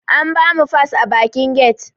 An bamu fas a bakin get